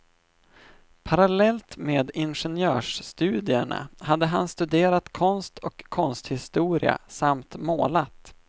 Parallellt med ingenjörsstudierna hade han studerat konst och konsthistoria samt målat.